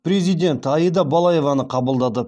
президент аида балаеваны қабылдады